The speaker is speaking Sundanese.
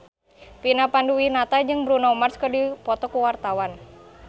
Vina Panduwinata jeung Bruno Mars keur dipoto ku wartawan